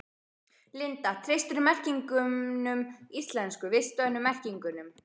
Linda: Treystirðu merkingunum íslensku, vistvænu merkingunum?